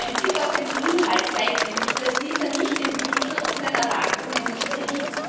Ein Blick auf den Inhalt zeigt nämlich, dass dieser nicht dem Titel und seinen Erwartungen entspricht.